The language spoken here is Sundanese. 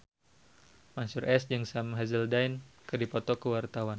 Mansyur S jeung Sam Hazeldine keur dipoto ku wartawan